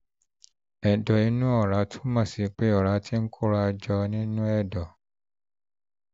ệdọ̀ inú ọ̀rá túmọ̀ sí pé ọ̀rá ti ń kóra jọ nínú ẹ̀dọ̀